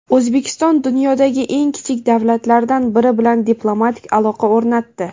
O‘zbekiston dunyodagi eng kichik davlatlardan biri bilan diplomatik aloqa o‘rnatdi.